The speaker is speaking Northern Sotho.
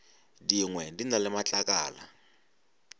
dingwe di na le matlakala